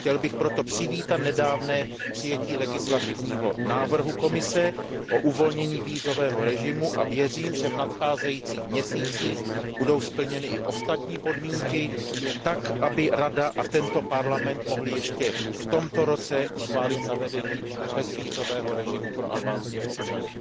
Chtěl bych proto přivítat nedávné přijetí legislativního návrhu Komise o uvolnění vízového režimu a věřím, že v nadcházejících měsících budou splněny i ostatní podmínky, tak aby Rada a tento Parlament mohly ještě v tomto roce schválit zavedení bezvízového režimu pro albánské občany.